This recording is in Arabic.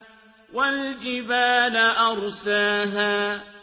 وَالْجِبَالَ أَرْسَاهَا